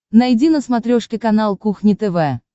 найди на смотрешке канал кухня тв